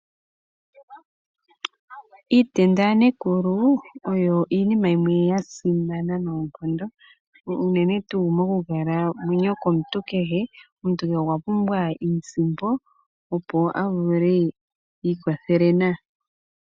Iitenda yanekulu oyo iinima yimwe ya simana noonkondo unene tuu monkalamwenyo yomuntu kehe. Omuntu kehe okwa pumbwa iisimpo, opo a vule iikwathele nayo.